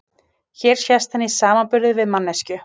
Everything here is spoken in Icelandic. Hér sést hann í samanburði við manneskju.